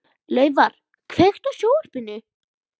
Laufar, kveiktu á sjónvarpinu.